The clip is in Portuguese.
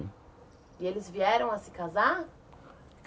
E eles vieram a se casar?